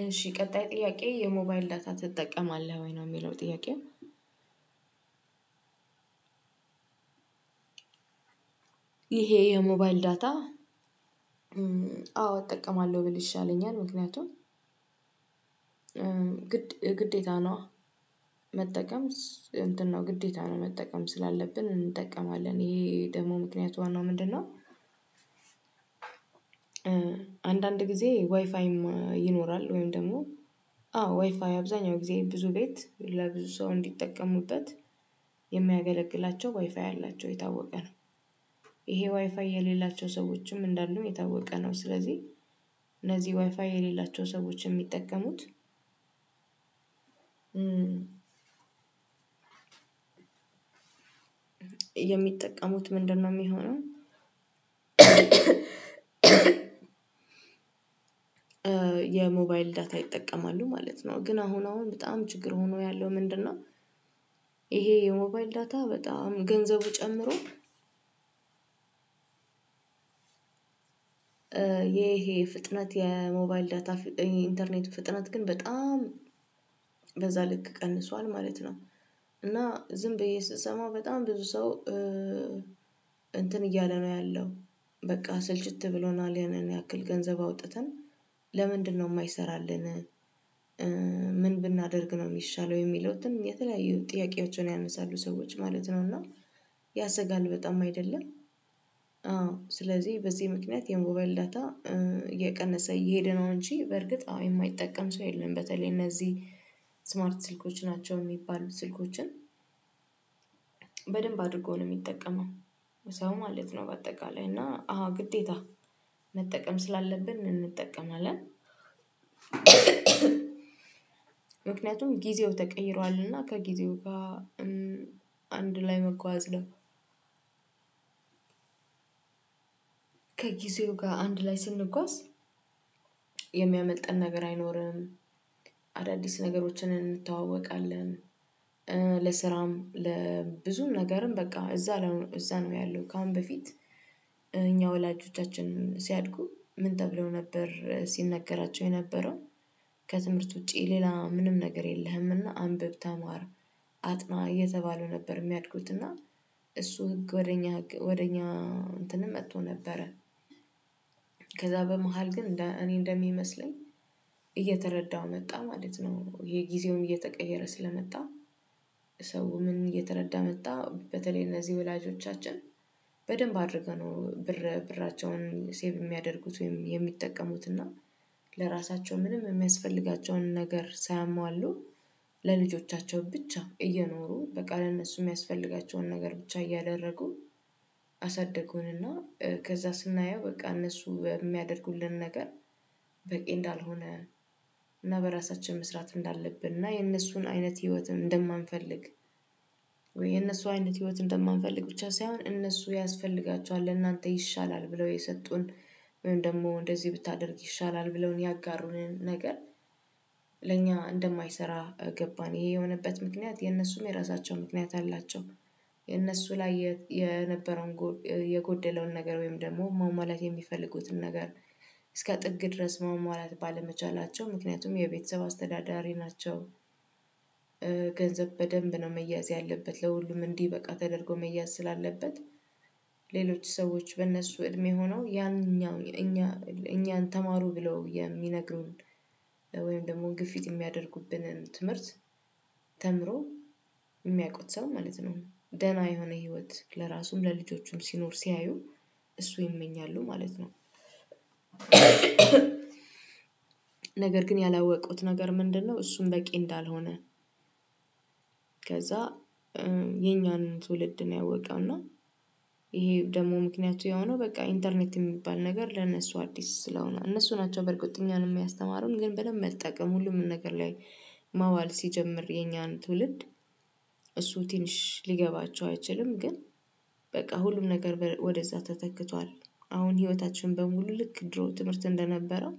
እሺ ቀጣይ ጥያቄ የሞባይል ዳታ ትጠቀማለህ ወይ ነው ሚለው ጥያቄው? ይሄ የሞባይል ዳታ አዎ እጠቀማለው ብል ይሻለኛል። ምክንያቱም ግዴታ ነዋ። መጠቀም እንትን ነው ግዴታ ነው መጠቀም ስላለብን እንጠቀማለን ይሄ ደሞ ምክንያቱ ዋናው ምንድነው? አንዳንድ ጊዜ ዋይፋይም ይኖራል ወይም ደሞ አዎ ዋይፋይ አብዛኛው ጊዜ ብዙ ቤት ለብዙ ሰው እንዲጠቀሙበት የሚያገለግላቸው ዋይፋይ አላቸው የታወቀ ነው። ይሄ ዋይፋይ የሌላቸው ሰዎችም እንዳሉ የታወቀ ነው። ስለዚ እነዚ ዋይፋይ የሌላቸው ሰዎች የሚጠቀሙት የሚጠቀሙት ምንድነው ሚሆነው? የሞባይል ዳታ ይጠቀማሉ ማለት ነው። ግን አሁን አሁን በጣም ችግር ሆኖ ያለው ምንድነው? ይሄ የሞባይል ዳታ በጣም ገንዘቡ ጨምሮ። ፍጥነት የሞባይል ዳታ ኢንተርኔት ፍጥነት ግን በጣም በዛ ልክ ቀንሷል ማለት ነው። እና ዝም ብዬ ስሰማው በጣም ብዙ ሰው እንትን እያለ ነው ያለው። በቃ ስልችት ብሎናል ያንን ያክል ገንዘብ አውጥተን ለምንድነው ማይሰራልን? ምን ብናደርግ ነው ሚሻለው የሚሉትን የተለያዩ ጥያቄዎችን ያነሳሉ ሰዎች ማለት ነው። እና ያሰጋል በጣም አይደለም? አዎ ስለዚህ በዚ ምክንያት የሞባይል ዳታ እየቀነሰ እየሄደ ነው። እንጂ በርግጥ አዎ የማይጠቀም ሰው የለም። በተለይ እነዚ ስማርት ስልኮች ናቸው ሚባሉ ስልኮችን በደንብ አድርጎ ነው ሚጠቀመው ሰው ማለት ነው። በአጠቃላይ እና አሃ ግዴታ መጠቀም ስላለብን እንጠቀማለን። ምክንያቱም ጊዜው ተቀይሯልና ከጊዜው ጋ አንድ ላይ መጓዝ ነው። ከጊዜው ጋር አንድ ላይ ስንጓዝ የሚያመልጠን ነገር አይኖርም። አዳዲስ ነገሮችን እንተዋወቃለን። ለስራም ለብዙም ነገርም በቃ እዛ እዛ ነው ያለው ከአሁን በፊት እኛ ወላጆቻችንም ሲያድጉ ምን ተብለው ነበር ሲነገራቸው የነበረው? ከትምህርት ውጪ ሌላ ምንም ነገር የለህም እና አንብብ ተማር አጥና እየተባሉ ነበር ሚያድጉት እና እሱ ህግ ወደ እኛ ህግ ወደ እኛ እንትንም መቶ ነበረ። ከዛ በመሃል ግን እንደ እኔ እንደሚመስለኝ እየተረዳሁ መጣ ማለት ነው የጊዜውን እየተቀየረ ስለመጣ። ሰው ምን እየተረዳ መጣ በተለይ እነዚ ወላጆቻችን። በደንብ አድርገው ነው ብር ብራቸውን ሴቭ ሚያደርጉት ወይም የሚጠቀሙት እና ለራሳቸው ምንም የሚያስፈልጋቸውን ነገር ሳያሟሉ ለልጆቻቸው ብቻ እየኖሩ በቃ ለእነሱ ሚያስፈልጋቸውን ነገር ብቻ እያደረጉ። አሳደጉን እና ከዛ ስናየው በቃ እነሱ የሚያደርጉልን ነገር በቂ እንዳልሆነ። እና በራሳችን መስራት እንዳለብን እና የእነሱን አይነት ህይወትን እንደማንፈልግ። ወይ የእነሱ አይነት ህይወት እንደማንፈልግ ብቻ ሳይሆን እነሱ ያስፈልጋቸዋል ለእናንተ ይሻላል ብለው የሰጡን። ወይም ደሞ እንደዚ ብታደርግ ይሻላል ብለውን ያጋሩንን ነገር። ለእኛ እንደማይሰራ ገባን ይሄ የሆነበት ምክንያት የእነሱም የራሳቸው ምክንያት አላቸው። የእነሱ ላይ የነበረውን የጎደለውን ነገር ወይም ደሞ ማሟላት የሚፈልጉትን ነገር እስከ ጥግ ድረስ ማሟላት ባለመቻላቸው ምክንያቱም የቤተሰብ አስተዳዳሪ ናቸው። ገንዘብ በደንብ ነው መያዝ ያለበት ለሁሉም እንዲበቃ ተደርጎ መያዝ ስላለበት። ሌሎች ሰዎች በእነሱ እድሜ ሆነው ያንኛው እኛ እኛን ተማሩ ብለው የሚነግሩን ወይም ደሞ ግፊት የሚያደርጉብንን ትምህርት ተምሮ ሚያውቁት ሰው ማለት ነው ደህና የሆነ ህይወት ለራሱም ለልጆቹም ሲኖር ሲያዩ እሱ ይመኛሉ ማለት ነው። ነገር ግን ያላወቁት ነገር ምንድነው እሱም በቂ እንዳልሆነ። ከዛ የኛን ትውልድ ነው ያወቀው እና። ይሄ ደሞ ምክንያቱ የሆነው በቃ ኢንተርኔት የሚባል ነገር ለነሱ አዲስ ስለሆነ እነሱ ናቸው በርግጥ እኛንም ያስተማሩን ግን በደምብ መጠቀም ሁሉም ነገር ላይ ማዋል ሲጀምር የኛን ትውልድ። እሱ ትንሽ ሊገባቸው አይችልም ግን። በቃ ሁሉም ነገር ወደዛ ተተክቷል አሁን ህይወታችን በሙሉ ልክ ድሮ ትምህርት እንደነበረው።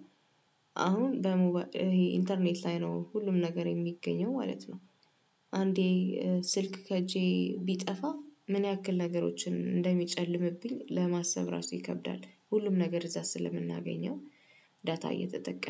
አሁን ኢንተርኔት ላይ ነው ሁሉም ነገር የሚገኘው ማለት ነው። አንዴ ስልክ ከእጄ ቢጠፋ ምን ያክል ነገሮችን እንደሚጨልምብኝ ለማሰብ ራሱ ይከብዳል ሁሉም ነገር እዛ ስለምናገኘው። ዳታ እየተጠቀምን